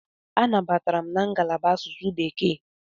Anabatara m na ngalaba asụsụ Bekee.